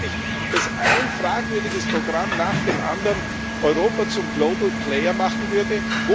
Glauben Sie wirklich, dass ein fragwürdiges Programm nach dem anderen Europa zum Global Player machen würde?